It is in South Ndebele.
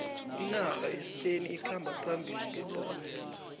inarha yespain ikhamba phambili ngebholo